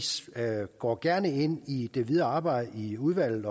går gerne ind i det videre arbejde i udvalget